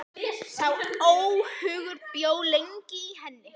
Sá óhugur bjó lengi í henni.